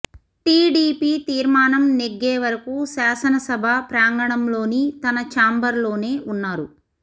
TDP తీర్మానం నెగ్గే వరకూ శాసనసభా ప్రాంగణంలోని తన ఛాంబర్ లోనే ఉన్నారు